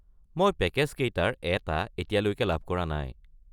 মই পেকেজকেইটাৰ এটা এতিয়ালৈ লাভ কৰা নাই।